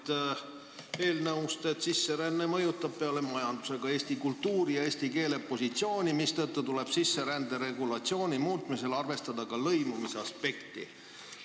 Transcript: Ma loen seletuskirjast, et sisseränne mõjutab peale majanduse ka eesti kultuuri ja eesti keele positsiooni, mistõttu tuleb sisserände regulatsiooni muutmisel arvestada ka lõimumisaspekti.